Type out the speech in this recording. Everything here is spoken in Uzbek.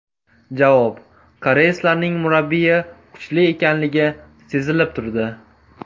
Javob: Koreyslarning murabbiyi kuchli ekanligi sezilib turdi.